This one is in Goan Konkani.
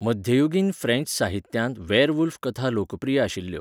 मध्ययुगीन फ्रेंच साहित्यांत वॅयरवूल्फ कथा लोकप्रिय आशिल्ल्यो.